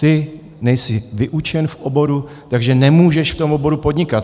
Ty nejsi vyučen v oboru, takže nemůžeš v tom oboru podnikat.